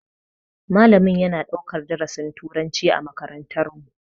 Malamin yana ɗaukar darasin turanci a makarantar mu.